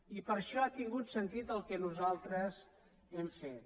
i per això ha tingut sentit el que nosaltres hem fet